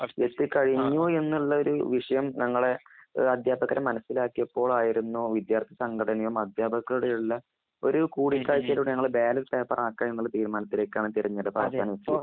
എത്തി കഴിഞ്ഞു എന്നുള്ള ഒരു വിഷയം ഞങ്ങൾ അധ്യാപകര് മനസ്സിലാക്കിയപ്പോൾ. ആയിരുന്നു വിദ്യാർത്ഥി സംഘടനകളും അധ്യാപകരും കൂടെയുള്ള ഒരു കൂടിക്കാഴ്ചയിലൂടെ ഞങ്ങൾ ബാലറ്റ് പേപ്പർആ ക്കുക എന്നുള്ള തീരുമാനത്തിലേക്കാണ് തെരഞ്ഞെടുപ്പ് അവസാനം എത്തിച്ചത് .